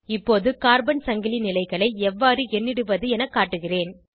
இப்போது கார்பன் சங்கிலி நிலைகளை எவ்வாறு எண்ணிடுவது என காட்டுகிறேன்